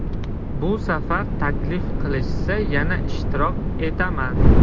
Bu safar taklif qilishsa, yana ishtirok etaman.